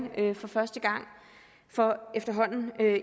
for første gang for efterhånden